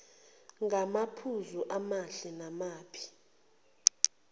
ngamaphuzu amahle namabi